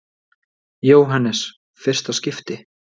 Jóhannes: Fyrsta skipti?